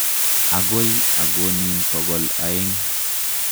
Akoi akonin pokol aeng'.